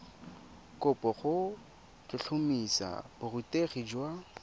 kopo go tlhotlhomisa borutegi jwa